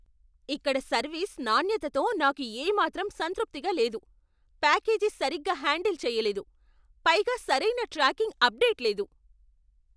ఇక్కడ సర్వీస్ నాణ్యతతో నాకు ఏమాత్రం సంతృప్తిగా లేదు. ప్యాకేజీ సరిగ్గా హ్యాండిల్ చెయ్యలేదు, పైగా సరైన ట్రాకింగ్ అప్డేట్ లేదు!